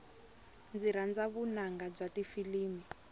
ndzi rhandza vunanga bya tifilimi